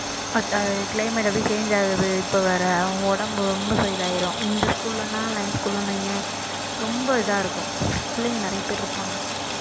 பத்தாதுக்கு climate அப்படியே change ஆகுது இப்ப வேற அவன் உடம்பு ரொம்ப இதாயிரும் இந்த school லன்னா ரொம்ப இதா இருக்கும் பிள்ளைங்க நிறைய பேர் இருப்பாங்க